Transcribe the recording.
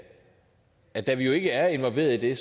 at da vi jo ikke er involveret i